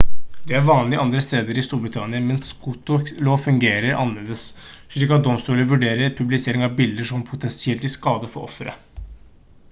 dette er vanlig andre steder i storbritannia men skotsk lov fungerer annerledes slik at domstoler vurderer publisering av bilder som potensielt til skade for offeret